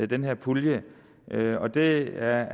den her pulje det er